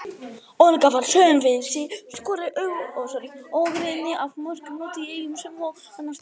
Olga var söm við sig, skoraði ógrynni af mörkum úti í Eyjum sem og annarsstaðar.